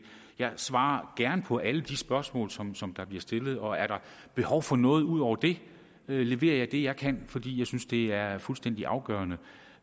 jeg svarer gerne på alle de spørgsmål som som der bliver stillet og er der behov for noget ud over det leverer jeg det jeg kan fordi jeg synes det er fuldstændig afgørende